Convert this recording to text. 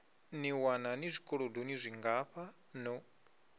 ḓiwana ni zwikolodoni zwingafha no